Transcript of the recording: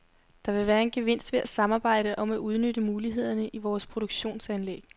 Der vil være en gevinst ved at samarbejde om at udnytte mulighederne i vores produktionsanlæg.